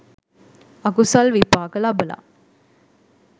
අකුසල් විපාක ලබලා